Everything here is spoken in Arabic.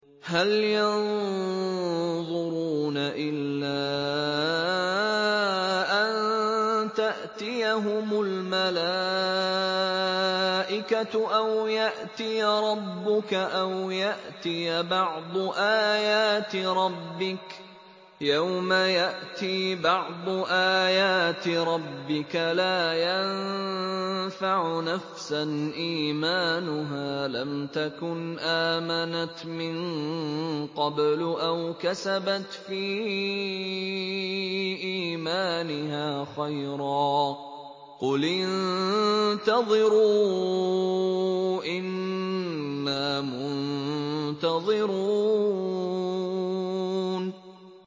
هَلْ يَنظُرُونَ إِلَّا أَن تَأْتِيَهُمُ الْمَلَائِكَةُ أَوْ يَأْتِيَ رَبُّكَ أَوْ يَأْتِيَ بَعْضُ آيَاتِ رَبِّكَ ۗ يَوْمَ يَأْتِي بَعْضُ آيَاتِ رَبِّكَ لَا يَنفَعُ نَفْسًا إِيمَانُهَا لَمْ تَكُنْ آمَنَتْ مِن قَبْلُ أَوْ كَسَبَتْ فِي إِيمَانِهَا خَيْرًا ۗ قُلِ انتَظِرُوا إِنَّا مُنتَظِرُونَ